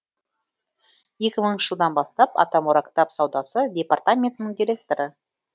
екі мыңыншы жылдан бастап атамұра кітап саудасы департаментінің директоры